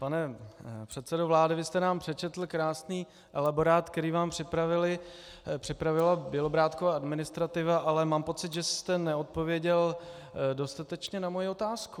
Pane předsedo vlády, vy jste nám přečetl krásný elaborát, který vám připravila Bělobrádkova administrativa, ale mám pocit, že jste neodpověděl dostatečně na moji otázku.